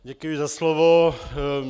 Děkuji za slovo.